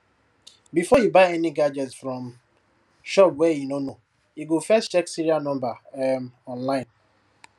before e buy any gadget from shop wey e no know e go first check serial number um online